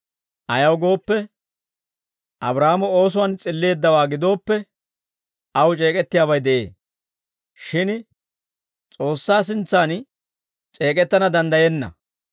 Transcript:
Ayaw gooppe, Abraahaamo oosuwaan s'illeeddawaa gidooppe, aw c'eek'ettiyaabay de'ee; shin S'oossaa sintsan c'eek'ettana danddayenna.